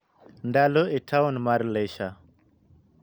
ndalo e taon mar leisure